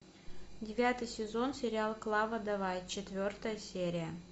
девятый сезон сериал клава давай четвертая серия